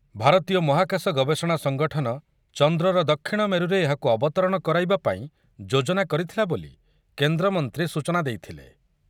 ଭାରତୀୟ ମହାକାଶ ଗବେଷଣା ସଙ୍ଗଠନ ଚନ୍ଦ୍ରର ଦକ୍ଷିଣ ମେରୁରେ ଏହାକୁ ଅବତରଣ କରାଇବା ପାଇଁ ଯୋଜନା କରିଥିଲା ବୋଲି କେନ୍ଦ୍ରମନ୍ତ୍ରୀ ସୂଚନା ଦେଇଥିଲେ